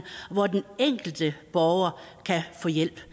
hvor den enkelte borger kan få hjælp